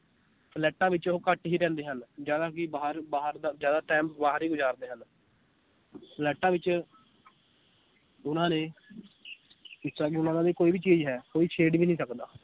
ਫਲੈਟਾਂ ਵਿਚ ਉਹ ਘੱਟ ਹੀ ਰਹਿੰਦੇ ਹਨ ਜ਼ਿਆਦਾ ਕਿ ਬਾਹਰ ਬਾਹਰ ਦਾ ਜ਼ਿਆਦਾ time ਬਾਹਰ ਹੀ ਗੁਜ਼ਾਰਦੇ ਹਨ ਫਲੈਟਾਂ ਵਿਚ ਉਹਨਾਂ ਨੇ ਜਿਸ ਤਰਾਂ ਕਿ ਉਹਨਾਂ ਦਾ ਵੀ ਕੋਈ ਵੀ ਚੀਜ਼ ਹੈ ਕੋਈ ਛੇੜ ਵੀ ਨੀ ਸਕਦਾ